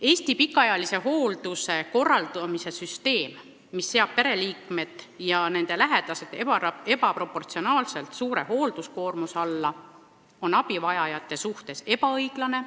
Eesti pikaajalise hoolduse korraldamise süsteem, mis seab pereliikmed ebaproportsionaalselt suure hoolduskoormuse alla, on abivajajate vastu ebaõiglane.